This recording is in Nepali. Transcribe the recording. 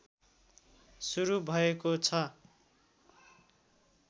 सुरू भएको छ